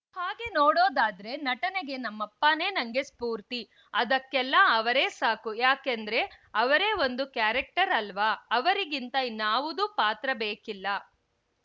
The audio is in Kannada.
ಹಾಗೆ ನೋಡೋದಾದ್ರೆ ನಟನೆಗೆ ನಮ್ಮಪ್ಪನೇ ನಂಗೆ ಸ್ಪೂರ್ತಿ ಅದಕ್ಕೆಲ್ಲ ಅವರೇ ಸಾಕುಯಾಕಂದ್ರೆ ಅವರೇ ಒಂದು ಕ್ಯಾರೆಕ್ಟರ್‌ ಅಲ್ವಾ ಅವರಿಗಿಂತ ಇನ್ನಾವುದು ಪಾತ್ರ ಬೇಕಿಲ್ಲ